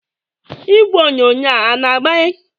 Igwe onyonyo a na-agbanye?